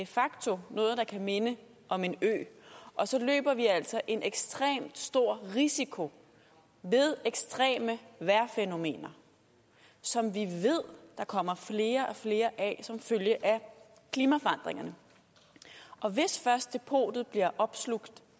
facto noget der kan minde om en ø og så løber vi altså en ekstrem stor risiko ved ekstreme vejrfænomener som vi ved der kommer flere og flere af som følge af klimaforandringerne og hvis først depotet bliver opslugt